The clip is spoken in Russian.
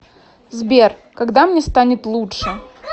сбер когда мне станет лучше